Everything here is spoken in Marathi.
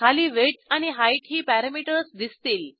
खाली विड्थ आणि हाइट ही पॅरॅमीटर्स दिसतील